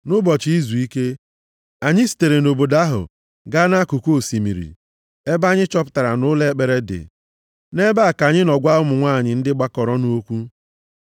Nʼụbọchị izuike, anyị sitere nʼobodo ahụ gaa nʼakụkụ osimiri ebe anyị chọpụtara na ụlọ ekpere dị. Nʼebe a ka anyị nọ gwa ụmụ nwanyị ndị gbakọrọnụ okwu.